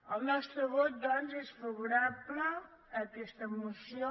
el nostre vot doncs és favorable a aquesta moció